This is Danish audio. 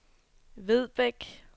Vedbæk